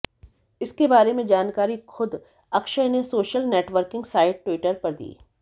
इसके बारे में जानकारी खुद अक्षय ने सोशल नेटवर्किंग साइट ट्विटर पर दी